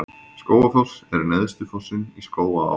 Skógafoss er neðsti fossinn í Skógaá.